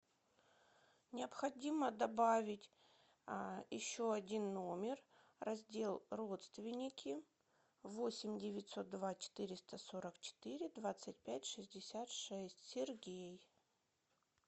необходимо добавить еще один номер раздел родственники восемь девятьсот два четыреста сорок четыре двадцать пять шестьдесят шесть сергей